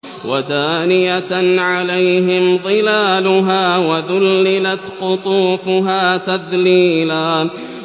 وَدَانِيَةً عَلَيْهِمْ ظِلَالُهَا وَذُلِّلَتْ قُطُوفُهَا تَذْلِيلًا